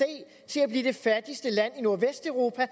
til at blive det fattigste land i nordvesteuropa i